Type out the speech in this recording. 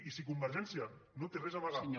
i si convergència no té res a amagar